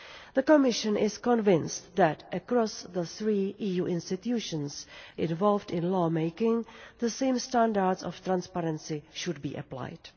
The Commission is convinced that across the three EU institutions involved in law-making, the same standards of transparency should be applied.